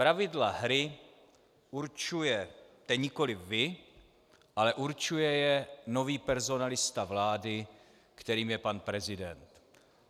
Pravidla hry určujete nikoliv vy, ale určuje je nový personalista vlády, kterým je pan prezident.